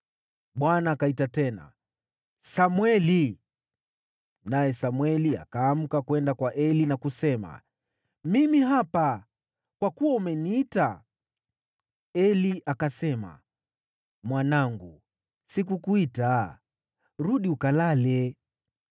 Bwana akaita tena, “Samweli!” Naye Samweli akaamka, kwenda kwa Eli na kusema, “Mimi hapa, kwa kuwa umeniita.” Eli akasema, “Mwanangu, sikukuita, rudi ukalale.”